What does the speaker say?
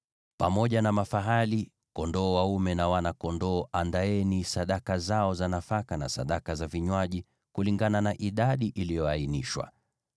Pamoja na mafahali, kondoo dume, na wana-kondoo, andaeni sadaka zao za nafaka na sadaka za vinywaji, kulingana na idadi iliyoainishwa.